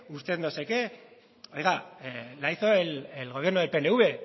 usted no sé qué oiga la hizo el gobierno del pnv